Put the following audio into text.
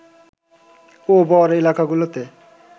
ও বর এলাকাগুলোতে